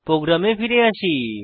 প্রোগ্রামে ফিরে আসি